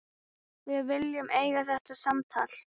Við viljum eiga þetta samtal.